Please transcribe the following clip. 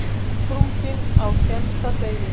Útsprungin á skemmsta degi.